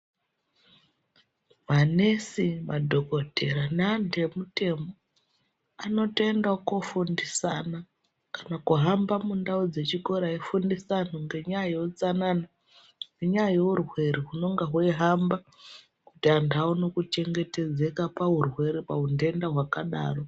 Manesi madhokodheya neantu emutemo anotoendawo kundofundisana kana kuhamba mundau dzechikora eifundisa antu nenyaya yeutsanana nenyaya yeurwere unonga weihamba kuti vantu vaone kuchengetedzeka paundenda unenge weidaro.